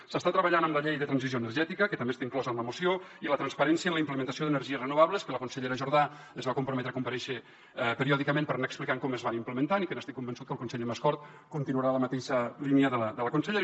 s’està treballant en la llei de transició energètica que també està inclosa en la moció i la transparència en la implementació d’energies renovables que la consellera jordà es va comprometre a comparèixer periòdicament per anar explicant com es van implementant i estic convençut que el conseller mascort continuarà en la mateixa línia de la consellera